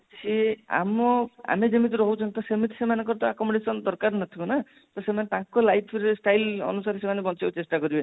ସିଏ ଆମ ଆମେ ଯେମିତି ରହୁଛନ୍ତି ତ ସେମିତି ସେମାନଙ୍କର ତ accommodation ତ ଦରକାର ନଥିବ ନା ତ ସେମାନେ ତାଙ୍କ life ର style ଅନୁସାରେ ସେମାନେ ବଞ୍ଚିବାକୁ ଚେଷ୍ଟା କରିବେ